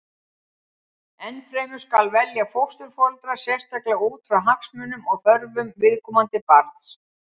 Enn fremur skal velja fósturforeldra sérstaklega út frá hagsmunum og þörfum viðkomandi barns.